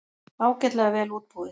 Ágætlega vel útbúið.